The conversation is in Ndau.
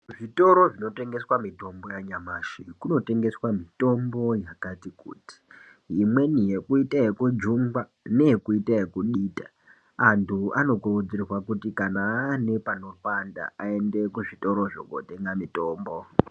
Zvitoro zvinotengeswa mitombo yanyamashi, kunotengeswa mitombo yakati kuti. Imweni yekuite yekujungwa imweni yekuita yekudita, antu anokurudzirwa kuti kana aine panopanda aende kuzvitoro kunotenge mitombo.